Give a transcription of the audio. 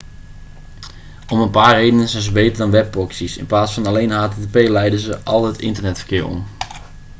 om een paar redenen zijn ze beter dan webproxy's in plaats van alleen http leiden ze al het internetverkeer om